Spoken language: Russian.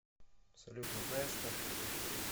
салют ну знаешь что